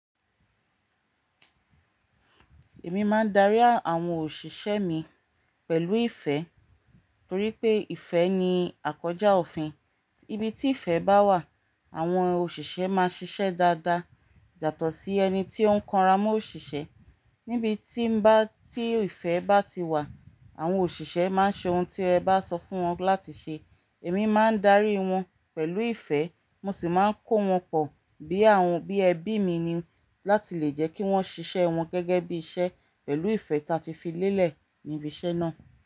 Èmi máa ń darí àwọn òṣìṣẹ́ mi pẹ̀lú ìfẹ́ torí pé ìfẹ́ ni àkójá òfin. Ibi tí ìfẹ́ bá wà, àwọn òṣìṣẹ́ máa ṣiṣẹ́ dáadáa. Yàtó sí ẹni tí ó ń kanra mọ́ òṣìṣẹ́, níbi tí ìfẹ́ bá ti wà, àwọn òṣìṣẹ́ máa ṣe oun tí ẹ bá sọ fún wọn láti ṣe. Èmi máa ń darí wọn pẹ̀lú ìfẹ́, mo sì máa ń kó wọn pọ̀ bí àwọn bí ẹbí mi ni láti lè jẹ́ kí wọ́n ṣiṣẹ́ wọn gẹ́gẹ́ bí iṣẹ́ pẹ̀lú ìfẹ́ ta ti fi lélẹ̀ níbi iṣẹ́ náà.